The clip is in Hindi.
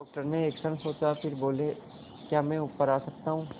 डॉक्टर ने एक क्षण सोचा फिर बोले क्या मैं ऊपर आ सकता हूँ